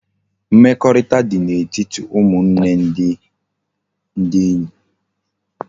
Mmekorita di na etiti umunne ndi enye